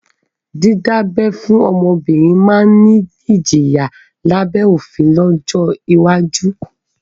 Dídá abẹ́ fún ọmọbìnrin máa ni ìjìyà lábẹ́ òfin lọ́jọ́ iwájú